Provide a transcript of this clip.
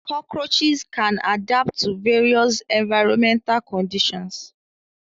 cockroaches can adapt to various environmental conditions.